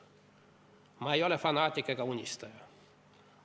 Ma ei ole fanaatik ega unistaja.